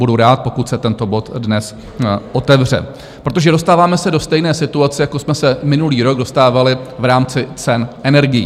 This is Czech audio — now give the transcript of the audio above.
Budu rád, pokud se tento bod dnes otevře, protože dostáváme se do stejné situace, jako jsme se minulý rok dostávali v rámci cen energií.